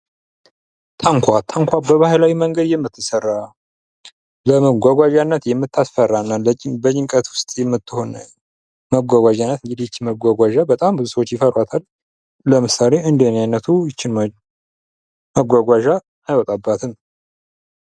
ታንኳ:-ታንኳ በባህላዊ መንገድ የምትሰራ ለመጓጓዣነት የምታስፈራ እና በጭንቀት ውስጥ የምትሆን መጓጓዣ ናት። እንግዲህ ይቺ መጓጓዣ በጣም ብዙ ሰዎች ይፈሯታል ለምሳሌ እንደ እኔ አይነቱ ይቺን መጓጓዣ አይወጣባትም።